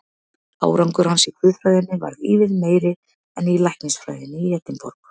Árangur hans í guðfræðinni varð ívið meiri en í læknisfræðinni í Edinborg.